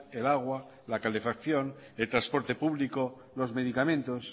el agua la calefacción el transporte público los medicamentos